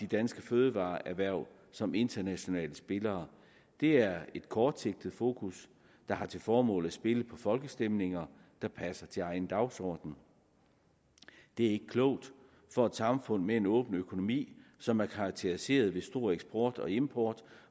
danske fødevareerhverv som internationale spillere det er et kortsigtet fokus der har til formål at spille på folkestemninger der passer til egen dagsorden det er ikke klogt for et samfund med en åben økonomi som er karakteriseret ved stor eksport og import